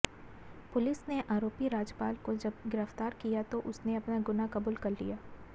police ने आरोपी राजपाल को जब गिरफ्तार किया तो उसने अपना गुनाह कबूल कर लिया